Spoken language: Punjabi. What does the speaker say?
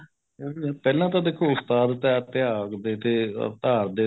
ਲੇਕਿਨ ਨਹੀਂ ਪਹਿਲਾਂ ਤਾਂ ਦੇਖੋ ਉਸਤਾਦ ਤਹਿਤ ਤਿਆਗ ਤੇ or ਧਾਰ ਦੇ ਤੇ